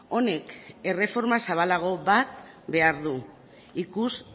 honek erreforma zabalago bat behar du ikus